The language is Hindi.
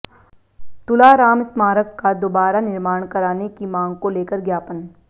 तुला राम स्मारक का दोबारा निर्माण कराने की मांग को लेकर ज्ञापन